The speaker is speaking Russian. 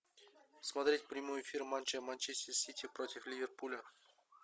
смотреть прямой эфир матча манчестер сити против ливерпуля